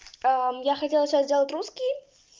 я хотела сейчас сделать русский